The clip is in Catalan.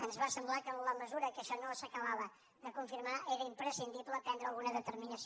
ens va semblar que en la mesura que això no s’acabava de confirmar era imprescindible prendre alguna determinació